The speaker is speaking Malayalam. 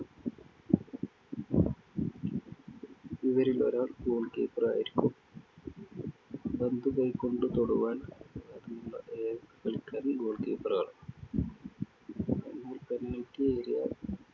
ഇവരിലൊരാൾ goal keeper ആയിരിക്കും. പന്തു കൈകൊണ്ടു തൊടുവാൻ അനുവാദമുളള ഏക കളിക്കാരൻ goal keeper ആണ്. എന്നാല്‍ എന്നാൽ penalty area